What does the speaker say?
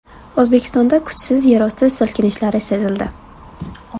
O‘zbekistonda kuchsiz yerosti silkinishlari sezildi.